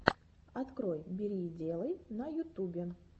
открой бери и делай на ютубе